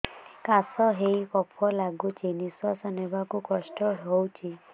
କାଶ ହେଇ କଫ ଗଳୁଛି ନିଶ୍ୱାସ ନେବାକୁ କଷ୍ଟ ହଉଛି